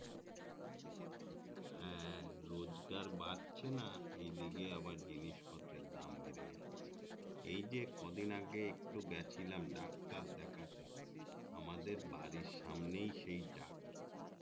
হ্যাঁ রোজগার বাড়ছে না এইদিকে জিনিস পত্রের দাম বেড়ে যাচ্ছে এই যে কদিন আগে গেছিলাম ডাক্তার দেখতে আমাদের বাড়ির সামনেই সেই ডাক্তার